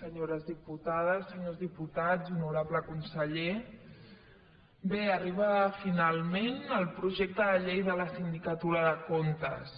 senyores diputades senyors diputats honorable conseller bé arriba finalment el projecte de llei de la sindicatura de comptes